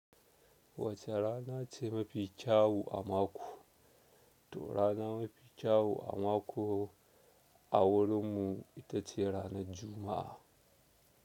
Wace rana ce mafi kyau a mako? To, rana mafi kyau a mako a wurinmu ita ce ranar Juma'a.